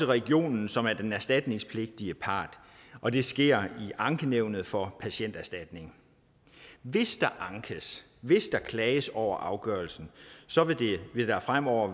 region som er den erstatningspligtige part og det sker til ankenævnet for patienterstatningen hvis der ankes hvis der klages over afgørelsen vil det fremover